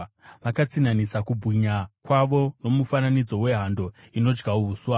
Vakatsinhanisa kubwinya kwavo nomufananidzo wehando, inodya uswa.